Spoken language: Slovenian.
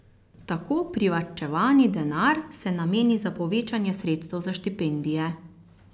Tako privarčevani denar se nameni za povečanje sredstev za štipendije.